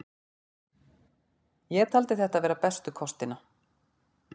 Ég taldi þetta vera bestu kostina.